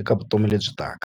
eka vutomi lebyi taka.